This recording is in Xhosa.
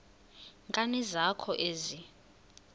nkani zakho ezi